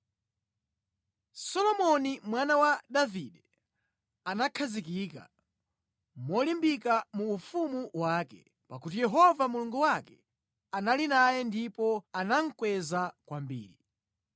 Solomoni mwana wa Davide anakhazikika molimbika mu ufumu wake, pakuti Yehova Mulungu wake anali naye ndipo anamukweza kwambiri.